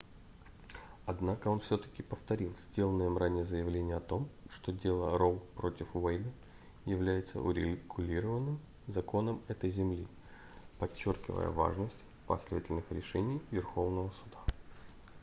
однако он всё-таки повторил сделанное им ранее заявление о том что дело роу против уэйда является урегулированным законом этой земли подчёркивая важность последовательных решений верховного суда